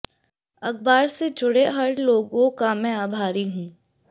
अखबार से जुड़े हर लोगों का मैं आभारी हूं